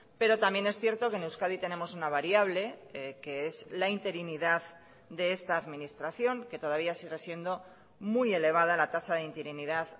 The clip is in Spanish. pero también es cierto que en euskadi tenemos una variable que es la interinidad de esta administración que todavía sigue siendo muy elevada la tasa de interinidad